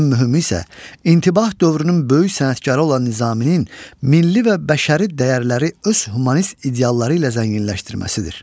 Ən mühümü isə intibah dövrünün böyük sənətkarı olan Nizaminin milli və bəşəri dəyərləri öz humanist idealları ilə zənginləşdirməsidir.